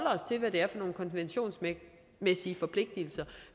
nogle konventionsmæssige forpligtelser